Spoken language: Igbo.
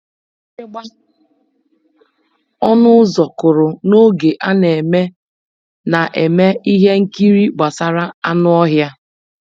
Mgbịrịgba ọnụ ụzọ kụrụ n'oge a na-eme na-eme ihe nkiri gbasara anụ ọhịa.